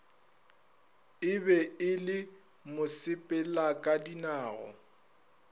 e be e le mosepelakadinao